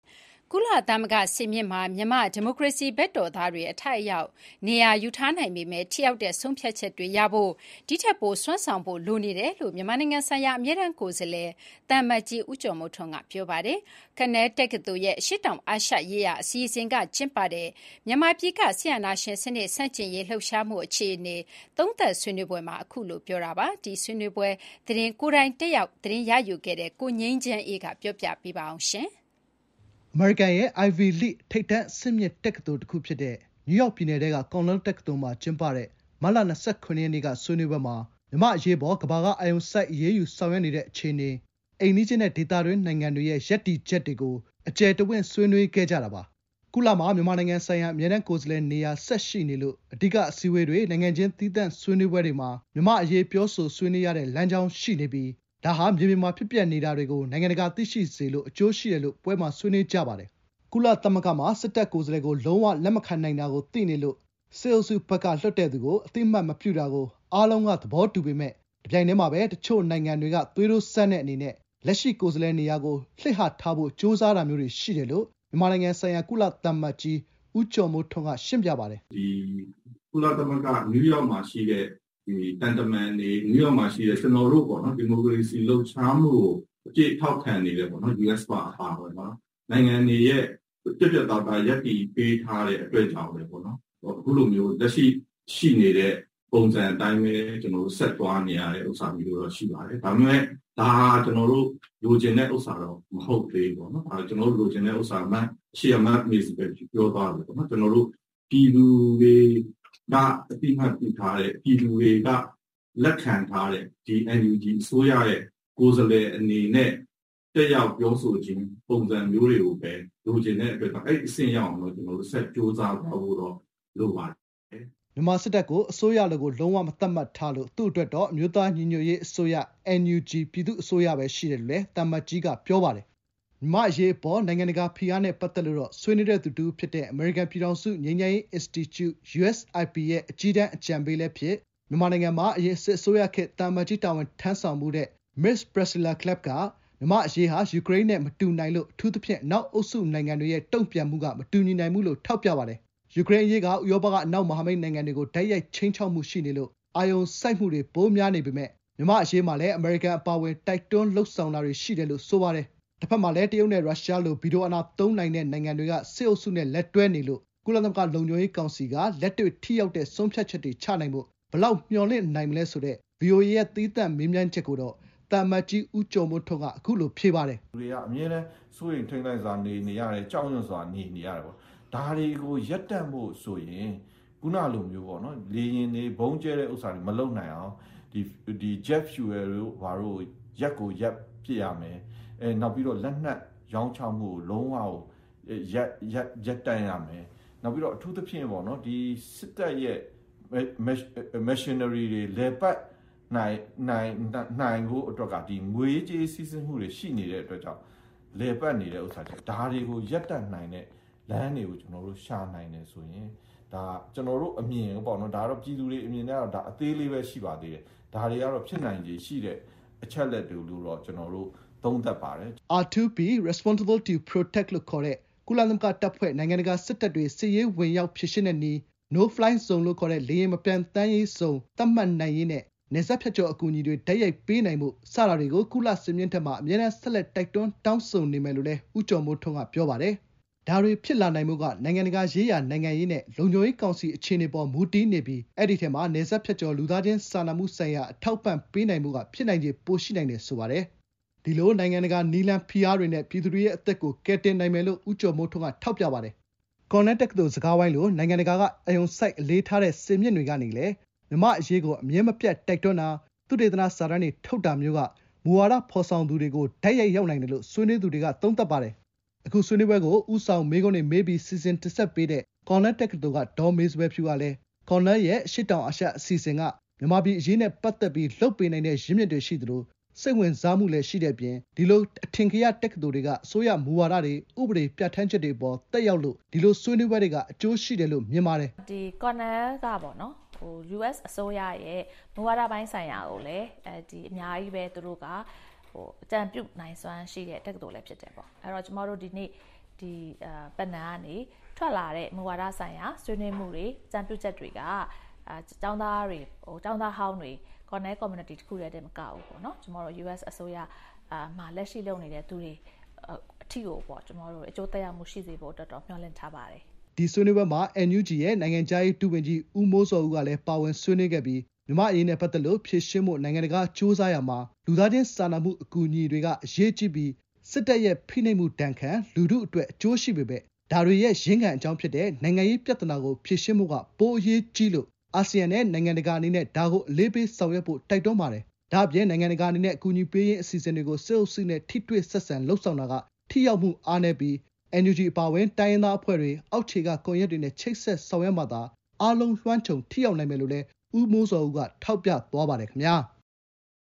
ကုလသမဂ္ဂစင်မြင့်မှာ မြန်မာ့ဒီမိုကရေစီဘက်တော်သားတွေ အထိုက်အလျောက် နေရာယူထားနိုင်ပေမယ့် ထိရောက်တဲ့ဆုံးဖြတ်ချက်တွေရရှိဖို့ ဒီထက်ပို စွမ်းဆောင်နိုင်ဖို့လိုနေတယ်လို့ မြန်မာနိုင်ငံဆိုင်ရာအမြဲတမ်းကိုယ်စားလှယ် သံအမတ်ကြီး ဦးကျော်မိုးထွန်းက ပြောလိုက်ပါတယ်။ ကော်နယ်တက္ကသိုလ်ရဲ့ အရှေ့တောင်အာရှရေးရာအစီအစဉ်ကကျင်းပတဲ့ မြန်မာပြည်က စစ်အာဏာရှင်စနစ် ဆန့်ကျင်ရေးလှုပ်ရှားမှုအခြေအနေ သုံးသပ်ဆွေးနွေးပွဲမှာ အခုလိုပြောတာပါ။ ဒီဆွေးနွေးပွဲအကြောင်းကို ကိုယ်တိုင်တက်ရောက်ခဲ့တဲ့ ကိုငြိမ်းချမ်းအေးက တင်ပြပေးထားပါတယ်။ အမေရိကန်ရဲ့ အိုင်ဗွီလိဂ် ထိပ်တန်းအဆင့်မြင့်တက္ကသိုလ်တခုဖြစ်တဲ့ နယူးယောက်ပြည်နယ်ထဲက ကော်နယ်တက္ကသိုလ်မှာကျင်းပတဲ့ မတ်လ ၂၇ ရက်နေ့က ဆွေးနွေးပွဲမှာ မြန်မာ့အရေးအပေါ် ကမ္ဘာကအာရုံစိုက် အရေးယူဆောင်ရွက်နေတဲ့ အခြေအနေ၊ အိမ်နီးချင်းနဲ့ဒေသတွင်း နိုင်ငံတွရဲ့ရပ်တည်ချက်တွေကို အကျယ်တဝင့် ဆွေးနွေးခဲ့ကြတာပါ။ ကုလမှာ မြန်မာနိုင်ငံဆိုင်ရာ အမြဲတမ်းကိုယ်စားလှယ်နေရာ ဆက်ရှိနေလို့ အဓိက အစည်းအဝေးတွေ၊ နိုင်ငံချင်းသီးသန့်ဆွေးနွေးပွဲတွေမှာ မြန်မာ့အရေး ပြောဆိုဆွေးနွေးနေရတဲ့လမ်းကြောင်းရှိနေပြီး ဒါဟာ မြေပြင်မှာ ဖြစ်ပျက်နေတာတွေကို နိုင်ငံတကာသိရှိစေလို့ အကျိုးရှိတယ်လို့ ပွဲမှာ ဆွေးနွေးကြပါတယ်။ ကုလသမဂ္ဂမှာ စစ်တပ်ကိုယ်စားလှယ်ကို လုံးဝလက်မခံနိုင်တာကိုသိနေလို့ စစ်အုပ်စုဘက်ကလွှတ်တဲ့သူကို အသိအမှတ်မပြုတာ အားလုံးသဘောတူပေမယ့် တပြိင်တည်းမှာ တချို့နိုင်ငံတွေက သွေးတိုးစမ်းတဲ့အနေနဲ့ လက်ရှိ ကိုယ်စားလှယ်နေရာကိုလှစ်ဟထားဖို့ ကြိုးစားတာမျိုးတွေရှိတယ်လို့ မြန်မာနိုင်ငံဆိုင်ရာ ကုလသံအမတ်ကြီး ဦးကျော်မိုးထွန်းက ရှင်းပြပါတယ်။ “ကုလသမဂ္ဂ နယူးယောက်မှာရှိတဲ့သံတမန်တွေ၊ ဒီမိုကရေစီလှုပ်ရှားမှုကို အပြည့်ထောက်ခံနေတဲ့ အမေရိကန်အပါအဝင် နိုင်ငံတွေရဲ့ ပြတ်ပြတ်သားသားရပ်တည်ပေးထားတဲ့အတွက်ကြောင့် အခုလိုမျိုးလက်ရှိ ရှိနေတဲ့ ပုံစံအတိုင်းပဲ ဆက်သွားနေရတာမျိုးရှိပါတယ်။ ဒါပေမယ့် ဒါဟာ ကျနော်တို လိုချင်တဲ့ဟာတော့ မဟုတ်သေးဘူး။ ကျနော်တို့လိုချင်တာက ပြည်သူတွေက အသိအမှတ်ပြုထားတဲ့ ပြည်သူတွေကလက်ခံထားတဲ့ ဒီ NUG အစိုးရရဲ့ ကိုယ်စားလှယ်အနေနဲ့ တက်ရောက်ပြောဆိုခြင်းပုံစံမျိုးတွေကိုပဲ လိုချင်တဲ့အတွက်ကြောင့် အဲဒီ အဆင့်ရအောင် ဆက်ကြိုးစားသွားဖို့ လိုပါတယ်။” မြန်မာ စစ်တပ်ကို အစိုးရလိုကို လုံးဝမသတ်မှတ်ထားလို့ သူ့အတွက်တော့ NUG ပြည်သူ့အစိုးရပဲရှိတယ်လို့လည်း သံအမတ်ကြီးက ပြောပါတယ်။ မြန်မာ့အရေး နိုင်ငံတကာဖိအားနဲ့ပတ်သက်လို့တော့ ဆွေးနွေးသူတဦးဖြစ်တဲ့ အမေရိကန်ပြည်ထောင်စု ငြိမ်းချမ်းရေးအင်စတီကျု (USIP) ရဲ့ အကြီးတန်း အကြံပေးလည်းဖြစ်၊ မြန်မာပြည်မှာ အရင် စစ်အစိုးရခေတ် သံအမတ်ကြီးတာဝန်ထမ်းဆောင်ဖူးခဲ့တဲ့ Ms. Priscilla Clapp က မြန်မာ့အရေးဟာ ယူကရိန်းနဲ့ မတူနိုင်လို့ အထူးသဖြင့် အနောက်အုပ်စုနိုင်ငံတွေရဲ့တုံ့ပြန်မှုကမတူညီနိုင်ဘူးလို့ ထောက်ပြပါတယ်။ ယူကရိန်းအရေးက ဥရောပက အနောက်မဟာမိတ်နိုင်ငံတွေကို တိုက်ရိုက်ခြိမ်းခြောက်မှုရှိနေလို့ အာရုံစိုက်မှုတွေပိုများနိုင်ပေမယ့် မြန်မာ့အရေးမှာလည်း အမေရိကန်အပါအဝင် တိုက်တွန်းလုပ်ဆောင်တာတွေ ရှိတယ်လို့ ဆိုပါတယ်။ တဘက်မှာလည်း တရုတ်နဲ့ရုရှားလို ဗီတိုအာဏာသုံးနိုင်တဲ့ နိုင်ငံတွေက စစ်အုပ်စုနဲ့ လက်တွဲနေလို့ ကုလသမဂ္ဂလုံခြုံရေးကောင်စီက လက်တွေ့ထိရောက်တဲ့ ဆုံးဖြတ်ချက်တွေချနိုင်ဖို့ ဘယ်လောက် မျှော်လင့်နိုင်မလဲဆိုတဲ့တဲ့ ဗွီအိုအေရဲ့ သီးသန့် မေးမြန်းချက်ကိုတော့ သံအမတ်ကြီး ဦးကျော်မိုးထွန်းကိုက အခုလို ဖြေပါတယ်။ “လူတွေက အမြဲတမ်း စိုးရိမ်ထိတ်လန့်စွာ နေနေရတယ်။ ကြောက်ရွံ့စွာ နေ နေ ရတယ်။ ဒါတွေကို ရပ်တန့်ဖို့ဆိုရင် လေယာဉ်တွေ၊ ဗုံးကြဲတာတွေမလုပ်နိုင်အောင် Jet Fuel (ဂျက်လေယာဉ်ဆီ) တွေ ရပ်ကိုရပ်ပစ်ရမယ်။ နောက်ပြီးတော့ လက်နက်ရောင်းချမှုကို လုံးဝ ရပ်တန့်ရမယ်။ အထူးသဖြင့် စစ်တပ်ရဲ့ Missionary တွေ လည်ပတ်နိုင်ဖို့အတွက်က ငွေရေးကြေးရေး စီးဆင်းမှုတွေ ရှိနေတဲ့အတွက်ကြောင့် လည်ပတ်နေတာပါ။ ဒါတွေကို ရပ်တန့်နိုင်တဲ့လမ်းတွေကို ရှာနိုင်တယ်ဆိုရင် ဒါဟာ ကျနော်တို့ အမြင်ပေါ့နော်၊ ပြည်သူတွေအမြင်ကတော့ အသေးလေးပဲ ရှိပါသေးတယ်။ ဒါတွေကတော့ ဖြစ်နိုင်ခြေရှိတဲ့ အချက်အလက်တွေလို့တော့ သုံးသပ်ပါတယ်။” R2P (Responsibility to Protect) လို့ ခေါ်တဲ့ ကုလသမဂ္ဂတပ်ဖွဲ့၊ နိုင်ငံတကာစစ်တပ်တွေ စစ်ရေးအရဝင်ရောက်ဖြေရှင်းတဲ့နည်း၊ No Fly Zone လို့ ခေါ်တဲ့ “လေယာဉ်မပျံသန်းရဇုန်” (no fly zone) သတ်မှတ်နိုင်ရေးနဲ့ နယ်စပ်ဖြတ် ကျော်အကူအညီတွေ တိုက်ရိုက်ပေးနိုင်ဖို့ စတာတွေကို ကုလစင်မြင့်ထက်မှာ အမြဲတမ်း ဆက်လက် တိုက်တွန်းတောင်းဆိုနေမယ်လို့လည်း ဦးကျော်မိုးထွန်းက ပြောပါတယ်။ ဒါတွေ ဖြစ်လာနိုင်ဖို့က နိုင်ငံတကာရေးရာ နိုင်ငံရေးနဲ့ လုံခြုံရေးကောင်စီအခြေအနေအပေါ်မူတည်နေပြီး အဲဒီထဲမှာ နယ်စပ်ဖြတ်ကျော် လူသားချင်းစာနာမှုဆိုင်ရာ အထောက်အပံ့ပေးနိုင်ဖို့က ဖြစ်နိုင်ခြေ ပိုရှိနိုင်တယ် ဆိုပါတယ်။ ဒီလို နိုင်ငံတကာ နည်းလမ်း၊ ဖိအားတွေနဲ့ ပြည်သူတွေရဲ့ အသက်ကို ကယ်တင်နိုင်မယ်လို့ ဦးကျော်မိုးထွန်းက ထောက်ပြပါတယ်။ ကော်နယ်တက္ကသိုလ်စကားဝိုင်းလို နိုင်ငံတကာက အာရုံစိုက် အလေးထားတဲ့ စင်မြင့်တွေကနေလည်း မြန်မာ့အရေးကို အမြဲမပြတ်တိုက်တွန်းတာ၊ သုတေသနစာတမ်းတွေထုတ်တာမျိုးကလည်း မူဝါဒ ဖော်ဆောင်သူတွေကို တိုက်ရိုက် ရောက်နိုင်တယ်လို့ ဆွေးနွေးသူတွေက သုံးသပ်ပါတယ်။ အခု ဆွေးနွေးပွဲကို ဦးဆောင်မေးခွန်းတွေမေးပြီး စီစဉ် တင်ဆက်ပေးတဲ့ ကော်နယ်လ်တက္ကသိုလ်က ဒေါ်မေစပယ်ဖြူကလည်း ကော်နယ်လ်ရဲ့အရှေ့တောင် အာရှ အစီအစဉ် Southeast Asia Program က မြန်မာပြည်အရေးနဲ့ ပတ်သက်ပြီး လုပ်ပေးနိုင်တဲ့ ရင်းမြစ်တွေရှိသလို စိတ်ဝင်စားမှုလည်းရှိတဲ့အပြင် ဒီလို အထင်ကရတက္ကသိုလ်တွေက အစိုးရရဲ့ မူဝါဒတွေ၊ ဥပဒေတွေ ပြဌာန်းချက်တွေ အပေါ် သက်ရောက်လို့ ဒီလို ဆွေးနွေးပွဲတွေက အကျိုးရှိတယ်လို့ မြင်ပါတယ်။ “ကော်နယ်လ်က အမေရိကန်အစိုးရရဲ့ မူဝါဒတွေကို အကြံပြုနိုင်စွမ်းတဲ့ တက္ကသိုလ်လည်း ဖြစ်တယ်၊ ဒီနေ့ Panel ဆွေးနွေးပွဲကနေထွက်လာတဲ့ မူဝါဒဆိုင်ရာ ဆွေးနွေးမှုတွေ၊ အကြံပြုချက်တွေက ကျောင်းသားတွေ၊ ကျောင်းသားဟောင်းတွေ ကော်နယ် Community တခုတည်းတင်မကဘူး၊ အမေရိကန်အစိုးရ လက်ရှိလုပ်နေတဲ့သူတွေအထိကို အကျိုးသက်ရောက်မှု ရှိစေဖို့အတွက်တော့ မျှော်လင့်ထားပါတယ်။” ဒီဆွေးနွေးပွဲမှာ အမျိုးသားညီညွတ်ရေးအစိုးရ NUG ရဲ့ နိုင်ငံခြားရေး ဒုဝန်ကြီး ဦးမိုးဇော်ဦးကလည်း ပါဝင်ဆွေးနွေးခဲ့ပြီး မြန်မာ့အရေးနဲ့ပတ်သက်လို့ ဖြေရှင်းဖို့ နိုင်ငံတကာက ကြိုးစားရာမှာ လူသားချင်းစာနာမှုအကူအညီတွေက အင်မတန် အရေးကြီးပြီး စစ်တပ်ရဲ့ ဖိနှိပ်မှုဒဏ်ခံလူထုအတွက် အကျိုးရှိပေမယ့် ဒါတွေရဲ့ ရင်းခံအကြောင်းဖြစ်တဲ့ နိုင်ငံရေးပြဿနာဖြေရှင်းဖို့က ပိုအရေးကြီးလို့ အာဆီယံနဲ့ နိုင်ငံတကာအနေနဲ့ ဒါကို အလေးပေးဆောင်ရွက်ဖို့ တိုက်တွန်းပါတယ်။ ဒ့ါ ပြင် နိုင်ငံတကာအနေနဲ့ အကူအညီပေးရေး အစီအစဉ်တွေကို စစ်အုပ်စုနဲ့ ထိတွေ့ဆက်ဆံလုပ်ဆောင်တာက ထိရောက်မှုအားနည်းပြီး NUG အပါအဝင် တိုင်းရင်းသားအဖွဲ့တွေ၊ အောက်ခြေက ကွန်ရက်တွေနဲ့ ချိတ်ဆက်ဆောင်ရွက်မှသာ အားလုံးလွှမ်းခြုံထိရောက်နိုင်မယ်လို့ လည်း ဦးမိုးဇော်ဦးက ထောက်ပြသွားပါတယ် ခင်ဗျာ။